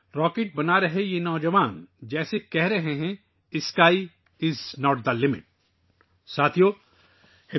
گویا راکٹ بنانے والے یہ نوجوان کہہ رہے ہیں، آسمان کی حد نہیں ہے